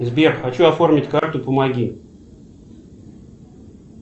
сбер хочу оформить карту помоги